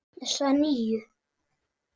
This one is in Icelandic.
Þessa nýju.